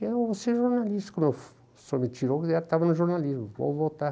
Eu vou ser jornalista, como o senhor me tirou, eu estava no jornalismo, vou voltar.